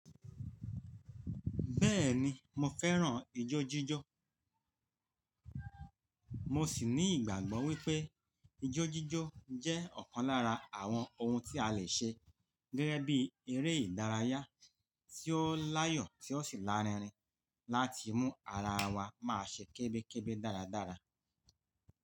Bẹ́ẹ̀ni, mo fẹ́ràn ijó jíjó. Mo sì ní ìgbàgbọ́ wípé ijó jíjó jẹ́ ọ̀kan lára àwọn ohun tí a lè ṣe gẹ́gẹ́ bí eré ìdárayá tí ó láyọ̀ tí ó sì lárinrin láti mú ara wa máa ṣe kébékébé dáradára.